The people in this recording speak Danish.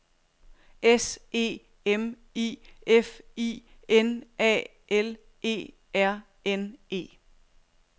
S E M I F I N A L E R N E